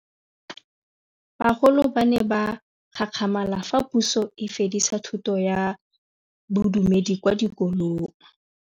Bagolo ba ne ba gakgamala fa Pusô e fedisa thutô ya Bodumedi kwa dikolong.